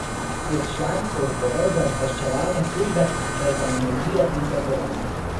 Je član odborov za obveščevalne službe ter za energijo in trgovanje.